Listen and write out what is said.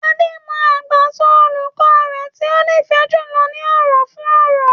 Ade mọ àgbàsọ olùkọ́ rẹ̀ tí ó nífẹ̀ẹ́ jùlọ ní ọ̀rọ̀ fún ọ̀rọ̀.